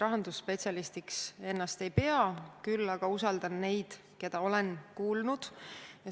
Rahandusspetsialistiks ma ennast ei pea, küll aga usaldan neid, keda olen kuulnud.